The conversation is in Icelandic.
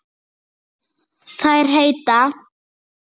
Þær heita